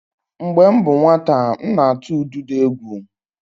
Mgbe m bụ nwata, m na-atụ ududo egwu.